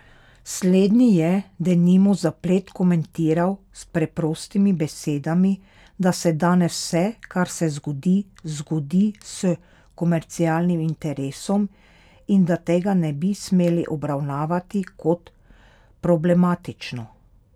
Slednji je, denimo, zaplet komentiral s preprostimi besedami, da se danes vse, kar se zgodi, zgodi s komercialnim interesom, in da tega ne bi smeli obravnavati kot problematično.